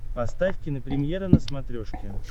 поставь кинопремьера на смотрешке